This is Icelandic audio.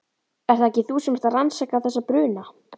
Ert það ekki þú sem ert að rannsaka. þessa bruna?